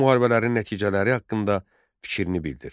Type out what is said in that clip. Bu müharibələrin nəticələri haqqında fikrini bildir.